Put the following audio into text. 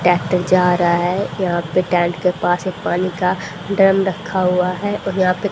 tractor जा रहा है यहां पे टैंट के पास एक पानी का ड्रम रखा हुआ है और यहां पे--